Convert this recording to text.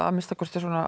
að minnsta kosti